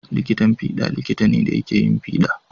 Likitan fiɗa likita ne da yake yin fiɗa.